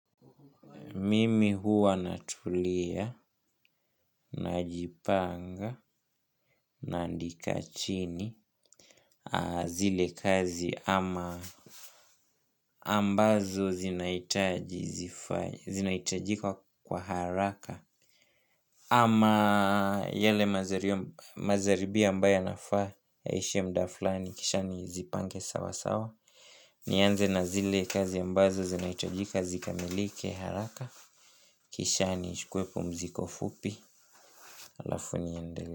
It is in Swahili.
Mimi huwa natulia, najipanga, naandika chini zile kazi ama ambazo zinaitajika kwa haraka. Ama yale mazaribia ambayo yanafaa yaishe mda fulani kisha nizipange sawa sawa. Nianze na zile kazi ambazo zinaitajika zikamilike haraka. Kisha nichue pumziko fupi alafu niende.